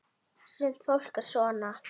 Sumt fólk er svona.